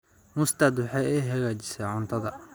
Mustard waxa ay hagaajisaa cuntada.